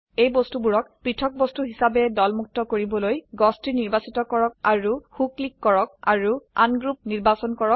এইবস্তুবোৰক পৃথক বস্তু হিচাবে দলমুক্ত কৰবলৈ গছটি নিৰ্বাচিত কৰক আৰু সো ক্লিক কৰক আৰু উংৰৌপ নিৰ্বাচন কৰক